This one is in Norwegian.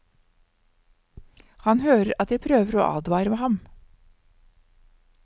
Han hører at de prøver å advare ham.